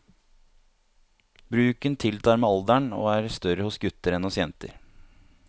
Bruken tiltar med alderen og er større hos gutter enn hos jenter.